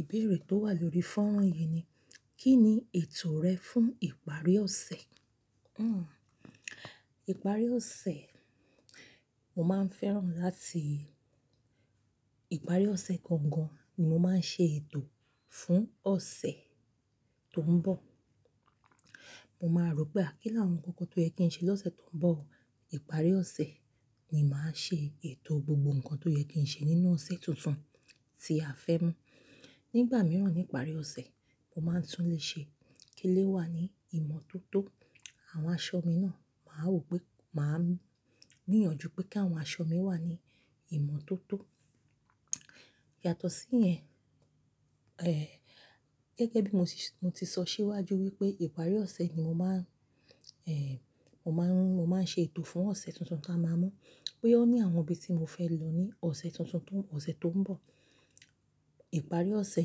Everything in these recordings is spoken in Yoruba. Ìbéèrè tó wà lórí fọ́nrán yìí ni, kí ni ètò rẹ fún ìparí ọ̀sẹ̀? Hmmm ìparí ọ̀sẹ̀, mo máa ń fẹ́ràn láti ìparí ọ̀sẹ̀ gangan ni mo máa ń ṣe ètò fún ọ̀sẹ̀ tó ń bọ̀. Mo máa rò pé a kí láwọn ǹkan kan tó yẹ kí ń ṣe lọ́sẹ̀ tó ń bọ̀. Ìparí ọ̀sẹ̀ ni màá ṣe ètò gbogbo ǹkan tó yẹ kí ń ṣe nínú ọ̀sẹ̀ tuntun tí a fẹ́ mú. Nígbà mìíràn ní ìparí ọ̀sẹ̀ mo máa ń tún le ṣe kí ilé wà ní ìmọ́tótó. Àwọn aṣọ mi náà màá wò pé màá gbìyànjú pé kí àwọn aṣọ mi wà ní ìmọ́tótó. Yàtọ̀ sí yẹn, eh gẹ́gẹ́ bí mo ti, mo ti sọ síwájú wípé ìparí ọ̀sẹ̀ ni mo máa ń, eh mo máa ń, mo máa ń ṣe ètò fún ọ̀sẹ̀ tuntun tí a máa mú. Boya ó ní àwọn ibi tí mo fẹ́ lọ ní ọ̀sẹ̀ tuntun tó, ọ̀sẹ̀ tó ń bọ̀. Ìparí ọ̀sẹ̀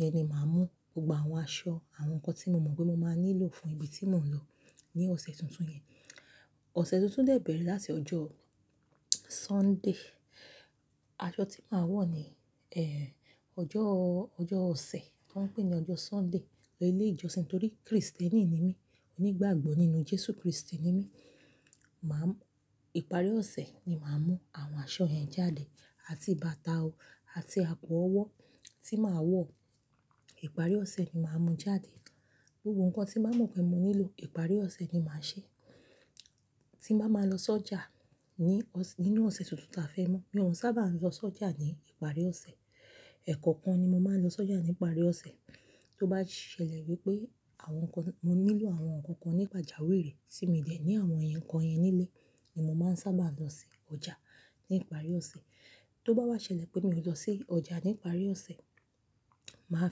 yẹn ni màá mú gbogbo àwọn aṣọ, àwọn ǹkan tí mo mọ̀ pé mo máa nílò fún ibi tí mò ń lọ ní ọ̀sẹ̀ tuntun yẹn. Ọ̀sẹ̀ tuntun dè bẹ̀rẹ̀ láti ọjọ́ Sunday. Aṣọ tí màá wọ̀ ní eh ọjọ́, ọjọ́ ọ̀sẹ̀ tó ń pè ní ọjọ́ Sunday lo ilé ìjọsìn torí Kristẹni ni mí. Onígbàgbọ́ nínú Jésù Kristi ni mí. Màá ìparí ọ̀sẹ̀ ni màá mú àwọn aṣọ yẹn jáde àti bàtà o àti àpò ọwọ́ tí màá wọ̀. Ìparí ọ̀sẹ̀ ni màá mú jáde gbogbo ǹkan tí màá mọ̀ pé mo nílò ìparí ọ̀sẹ̀ ni màá ṣe. Tí n bá máa lọ sọ́jà ní, nínú ọ̀sẹ̀ tuntun tí a fẹ́ mú. Mi ò n sábà lọ sọ́jà ní ìparí ọ̀sẹ̀. Ẹ̀kọ̀kan ni mo máa ń lọ sọ́jà ní ìparí ọ̀sẹ̀. Tó bá ṣẹlẹ̀ wípé àwọn ǹkan, mo nílò àwọn ǹkan kan ní pajawiri tí mi ò dẹ̀ ní àwọn ǹkan yẹn nílé ni mo máa ń sábà lọ sí ọjà ní ìparí ọ̀sẹ̀. Tó bá wá ṣẹlẹ̀ pé mi ò lọ sí ọjà ní ìparí ọ̀sẹ̀, màá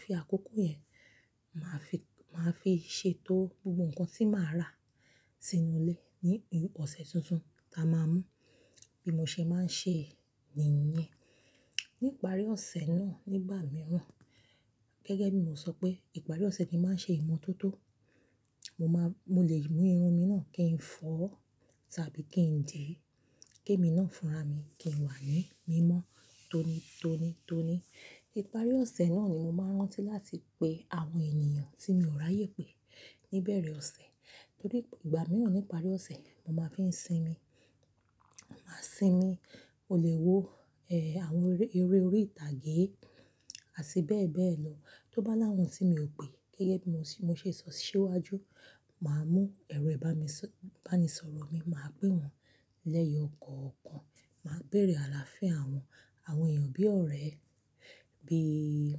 fi àkókò yẹn màá fi, màá fi ṣe etó gbogbo ǹkan tí màá rà sínú ilé ní ọ̀sẹ̀ tuntun tí a máa mú. Bí mo ṣe máa ń ṣe ni yẹn. Ní ìparí ọ̀sẹ̀ náà nígbà mìíràn, gẹ́gẹ́ bí mo sọ pé ìparí ọ̀sẹ̀ ni màá ṣe ìmọ́tótó. Mo máa, mo lè mú irun mi náà kí n fọ́ tàbí kí n dìi. Kemi náà fúnra mi kí n wà ní mímọ́ tóni, tóni, tóni. Ìparí ọ̀sẹ̀ náà ni mo máa ń rántí láti pe àwọn ènìyàn tí mi ò ráyé pé níbẹ̀rẹ̀ ọ̀sẹ̀. Torí ìgbà mìíràn ní ìparí ọ̀sẹ̀ mo máa ń fi ń sinmi. Mo máa sinmi mo lè wo eh àwọn eré orí ìtàgé àti bẹ́ẹ̀ bẹ́ẹ̀ lọ. Tó bá láwọn tí mi ò pè gẹ́gẹ́ bí mo ti, mo ṣe sọ síwájú, màá mú ẹ̀rọ ìbánisọ, ìbánisọ̀rọ̀ mi, màá pè wọ́n lẹ́yọ kọ̀ọ̀kan. Màá béèrè àlàáfíà wọn, àwọn èèyàn bí ọ̀rẹ́ bíi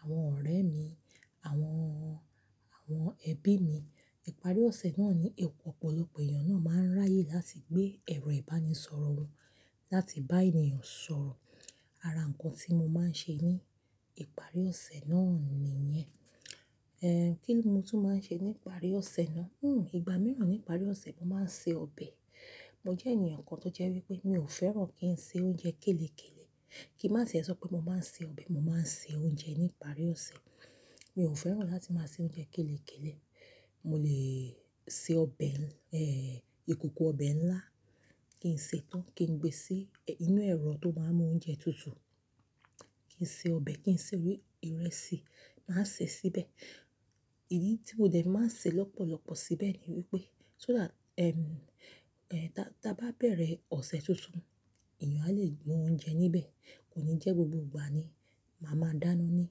àwọn ọ̀rẹ́ mi àwọn, àwọn ẹbí mi. Ìparí ọ̀sẹ̀ náà ni ọ̀pọ̀lọpọ̀ èèyàn náà máa ń ráyè láti gbé ẹ̀rọ ìbánisọ̀rọ̀ wọ́n láti bá ènìyàn sọ̀rọ̀. Ara ǹkan tí mo máa ń ṣe ní ìparí ọ̀sẹ̀ náà ni yẹn. Eh kí ni mo tún máa ń ṣe ní ìparí ọ̀sẹ̀ náà? Hmmm ìgbà mìíràn ní ìparí ọ̀sẹ̀ mo máa ń ṣe ọbẹ̀. Mo jẹ́ ènìyàn kan tó jẹ́ wípé mi ò fẹ́ràn kí ń ṣe oúnjẹ kélekéle. Kí n má tiẹ̀ sọ pé mo máa ń ṣe ọbẹ̀, mo máa ń ṣe oúnjẹ ní ìparí ọ̀sẹ̀. Mi ò fẹ́ràn láti máa ṣe oúnjẹ kélekéle. Mo lè ṣe ọbẹ̀ eh ìkòkò ọbẹ̀ ńlá kí n sè é tán kí n gbe sí inú ẹ̀rọ tó máa ń mú oúnjẹ tutù. Kí n ṣe ọbẹ̀ kí n sè ìrẹsì, màá sè síbẹ̀. Ìdí tí mo dẹ̀ máa ń sè lọ́pọ̀lọpọ̀ síbẹ̀ ni wípé, so that ehm eh tá bá bẹ̀rẹ̀ ọ̀sẹ̀ tuntun èèyàn a lè mú oúnjẹ níbẹ̀. Kò ní jẹ́ gbogbo ìgbà ni màá máa dáná ní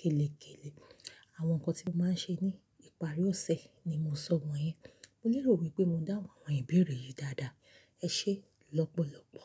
kélekéle. Àwọn ǹkan tí mo máa ń ṣe ní ìparí ọ̀sẹ̀ ni mo sọ wọ́n yẹn. Mo lérò wípé mo dá àwọn ìbéèrè yìí dáadáa. Ẹ ṣé lọ́pọ̀lọpọ̀.